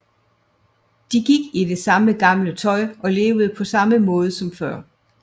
De gik i det samme gamle tøj og levede på samme måde som før